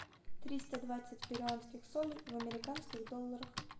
триста двадцать перуанских солей в американских долларах